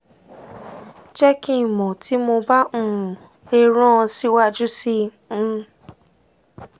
jẹ ki n mọ ti mo ba um le ran ọ siwaju sii um